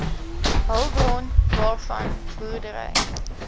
hulpbron waarvan boerdery